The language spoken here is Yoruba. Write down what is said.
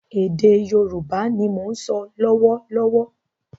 Ède Yorùbá ni mò ń so lọ́wọ́ lọ́wọ́